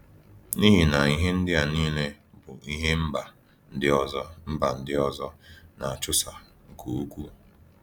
N’ihi na ihe ndị a niile bụ ihe mba ndị ọzọ mba ndị ọzọ na -achụso nke ukwuu.